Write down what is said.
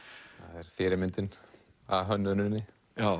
það er fyrirmyndin að hönnuninni